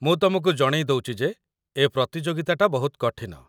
ମୁଁ ତମକୁ ଜଣେଇ ଦଉଚି ଯେ ଏ ପ୍ରତିଯୋଗିତାଟା ବହୁତ କଠିନ ।